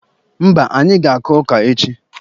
Mba, anyị ga-akụ ọka echi.